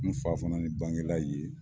N fa fɛnɛ ni bangela yen